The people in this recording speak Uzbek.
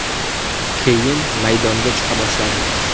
Keyin maydonga chiqa boshladim.